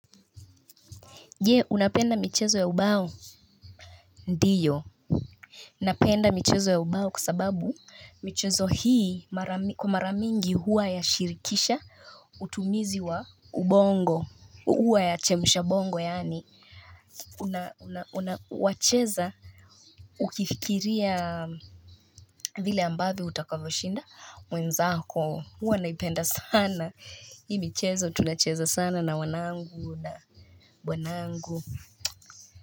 Je, unapenda michezo ya ubao, ndiyo. Napenda michezo ya ubao kwa sababu, michezo hii kwa maramingi huwa ya shirikisha, utumizi wa ubongo, huwa ya chemushabongo, yani, unawacheza, ukifikiria vile ambavyo utakavoshinda, mwenzako, huwa naipenda sana. Hii michezo tunacheza sana na wanangu na bwanangu.